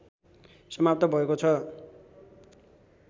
समाप्त भएको छ